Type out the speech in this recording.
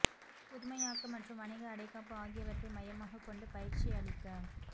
புதுமையாக்கம் மற்றும் வணிக அடைக்காப்பு ஆகியவற்றை மையமாக கொண்டு பயிற்சி அளிக்க